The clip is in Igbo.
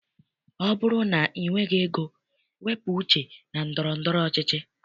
Ọ bụrụ na i nweghị ego, wepụ uche na ndọrọndọrọ ọchịchị.